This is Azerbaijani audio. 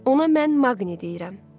Ona mən Maqni deyirəm.